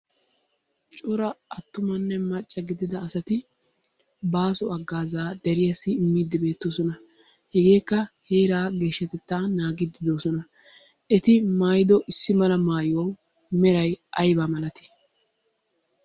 Cora attumanne macca giddlidda asati baaso haggaazaa deriyaassi immiidi beettoosona. Hegeekka heeraa geshshatetta naagidi doosona. Eti maayiddo issi mala maayuwawu meray aybaa malatii?